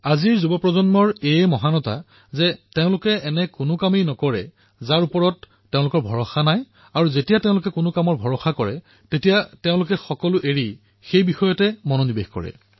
আজিৰ যুৱসমাজে এনেকুৱা কাম নকৰে যিটোৰ ওপৰত তেওঁলোকৰ বিশ্বাস নাই আৰু যেতিয়া তেওঁলোকে কোনো এটা কথাক বিশ্বাস কৰি লয় তেতিয়া সকলো এৰি সেই কথাটোৰ পিছত লাগি ধৰে